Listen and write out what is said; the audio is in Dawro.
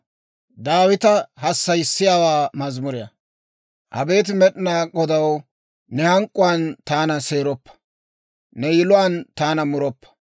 Abeet Med'inaa Godaw, ne hank'k'uwaan taana seeroppa; ne yiluwaan taana muroppa.